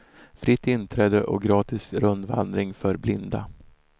Fritt inträde och gratis rundvandring för blinda.